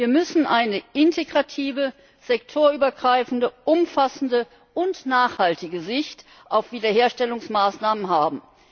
Wir müssen eine integrative, sektorübergreifende, umfassende und nachhaltige Sicht auf Wiederherstellungsmaßnahmen haben.